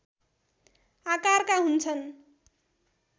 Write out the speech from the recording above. आकारका हुन्छन्